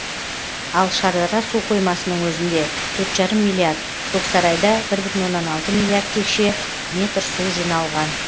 ал шардара су қоймасының өзінде төрт жарым миллиард көксарайда бір бүтін оннан алты миллиард текше метр су жиналған